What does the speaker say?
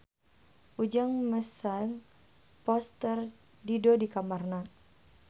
Ujang masang poster Dido di kamarna